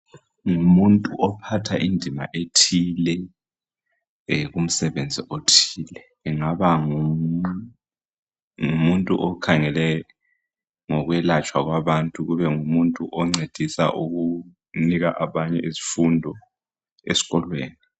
Ngumuntu ophatha indima ethile kumsebenzi othile engaba ngumuntu okhangele ngokwelatshwa kwabantu kube ngumuntu oncedisa ukunika abanye izifundo esikolweni.